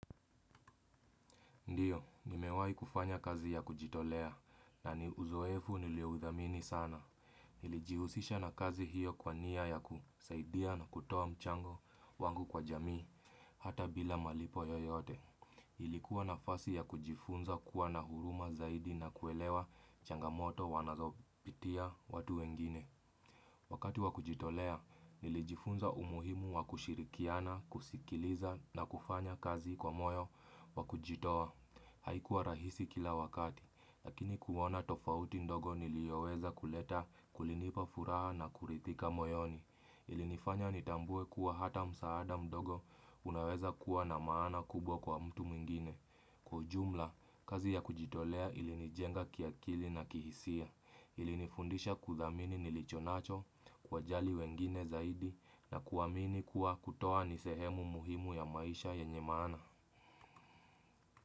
Ndiyo, nimewai kufanya kazi ya kujitolea na ni uzoefu nilioudhamini sana. Nilijihusisha na kazi hiyo kwa nia ya kusaidia na kutoa mchango wangu kwa jamii, hata bila malipo yoyote. Ilikuwa nafasi ya kujifunza kuwa na huruma zaidi na kuelewa changamoto wanazopitia watu wengine. Wakati wa kujitolea, nilijifunza umuhimu wa kushirikiana, kusikiliza na kufanya kazi kwa moyo wa kujitoa. Haikuwa rahisi kila wakati, lakini kuona tofauti ndogo niliyoweza kuleta kulinipa furaha na kurithika moyoni. Ilinifanya nitambue kuwa hata msaada mdogo unaweza kuwa na maana kubwa kwa mtu mwingine. Kqa ujumla, kazi ya kujitolea ilinijenga kiakili na kihisia. Ilinifundisha kudhamini nilicho nacho, kuwajali wengine zaidi na kuamini kuwa kutoa nisehemu muhimu ya maisha yenye maana.